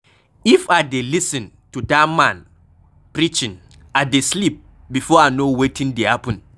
If I dey lis ten to dat man preaching I dey sleep before I no wetin dey happen.